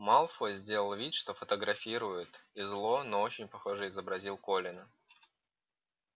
малфой сделал вид что фотографирует и зло но очень похоже изобразил колина